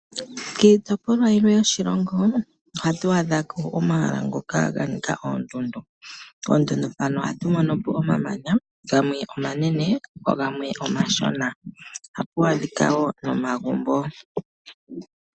Kiitopolwa yilwe yoshilongo ohatu adhako omahala ngoka ga nika oondundu. Poondundu mpono ohatu mono po omamanya, gamwe omanene gamwe omashona. Ohapu adhika wo nomagumbo.